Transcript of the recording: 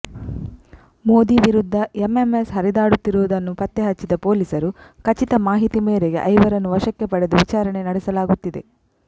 ಮೋದಿ ವಿರುದ್ಧ ಎಂಎಂಎಸ್ ಹರಿದಾಡುತ್ತಿರುವುದನ್ನು ಪತ್ತೆ ಹಚ್ಚಿದ ಪೊಲೀಸರು ಖಚಿತ ಮಾಹಿತಿ ಮೇರೆಗೆ ಐವರನ್ನು ವಶಕ್ಕೆ ಪಡೆದು ವಿಚಾರಣೆ ನಡೆಸಲಾಗುತ್ತಿದೆ